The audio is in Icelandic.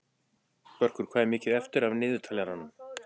Sigurður, hvað er mikið eftir af niðurteljaranum?